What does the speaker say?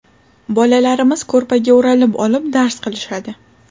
Bolalarimiz ko‘rpaga o‘ralib olib, dars qilishadi.